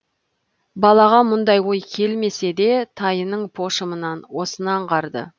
балаға мұндай ой келмесе де тайының пошымынан осыны аңғарды